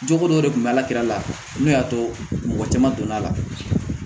Jogo dɔ de kun bɛ alakira n'o y'a to mɔgɔ caman donna la